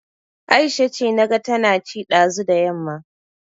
Aisha ce, naga tana ci ɗazu da yamma